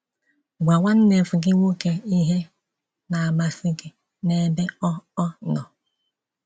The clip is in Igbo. Gwa nwannevgị nwoke ihe na-amasị gị n’ebe ọ ọ nọ.